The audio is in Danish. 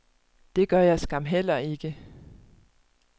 Det gør jeg skam heller ikke.